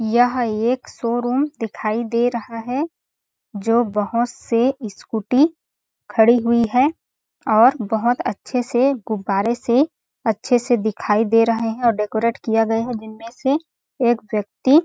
यह एक शोरूम दिखाई दे रहा है जो बहोत से स्कूटी खड़ी हुई है और बहोत अच्छे से गुब्बारे से अच्छे से दिखाई दे रहे है और डेकोरेट किया गया है जिनमें से एक व्यक्ति--